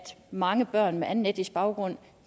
mange børn med anden etnisk baggrund